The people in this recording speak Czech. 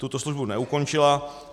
Tuto službu neukončila.